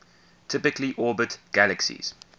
typically orbit galaxies